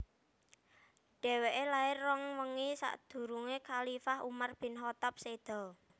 Dhèwèké lair rong wengi sakdurungé khalifah Umar bin Khaththab séda